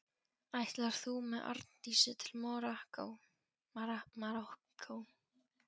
Ætlar þú með Arndísi til Marokkó?